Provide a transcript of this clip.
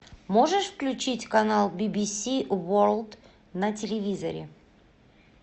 можешь включить канал бибиси ворлд на телевизоре